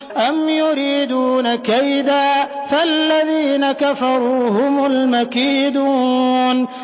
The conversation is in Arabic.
أَمْ يُرِيدُونَ كَيْدًا ۖ فَالَّذِينَ كَفَرُوا هُمُ الْمَكِيدُونَ